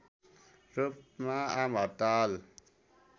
रूपमा आमहड्ताल